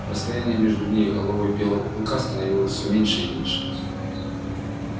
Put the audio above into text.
расстояние между ней и головой белого клыка становилось все меньше и меньше